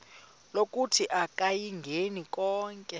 lokuthi akayingeni konke